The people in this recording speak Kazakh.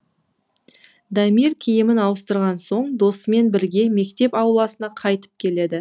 дамир киімін ауыстырған соң досымен бірге мектеп ауласына қайтып келеді